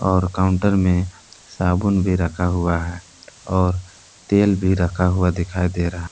और काउंटर में साबुन भी रखा हुआ है और तेल भी रखा हुआ दिखाई दे रहा--